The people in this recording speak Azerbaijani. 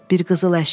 Bir qızıl əşya.